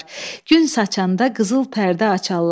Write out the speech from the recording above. Gün saçanda qızıl pərdə açarlar.